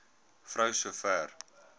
vrou so ver